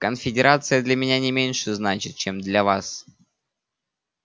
конфедерация для меня не меньше значит чем для вас